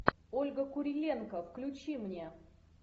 ольга куриленко включи мне